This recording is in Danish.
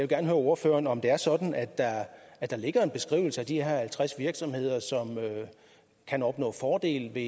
gerne høre ordføreren om det er sådan at der at der ligger en beskrivelse af de her halvtreds virksomheder som kan opnå fordele ved